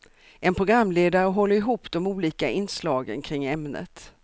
En programledare håller ihop de olika inslagen kring ämnet.